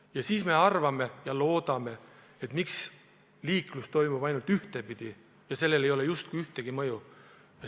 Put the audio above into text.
Ja siis arvame ja loodame, miks liiklus toimub ainult ühtepidi ja sellel ei ole justkui mingit mõju.